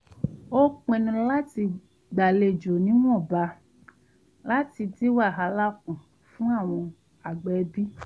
a pinnu láti gbàlejò níwọ̀nba láti dín wàhálà kù fun àwọn àgbà ẹbí